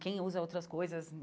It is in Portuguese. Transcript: Quem usa outras coisas?